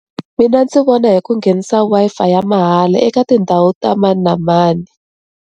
Mina ndzi vona hi ku nghenisa Wi-Fi ya mahala eka tindhawu ta mani na mani.